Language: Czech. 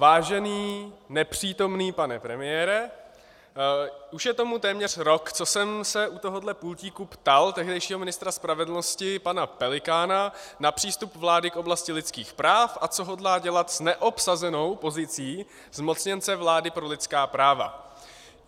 Vážený nepřítomný pane premiére, už je tomu téměř rok, co jsem se u tohohle pultíku ptal tehdejšího ministra spravedlnosti pana Pelikána na přístup vlády v oblasti lidských práv a co hodlá dělat s neobsazenou pozicí zmocněnce vlády pro lidská práva.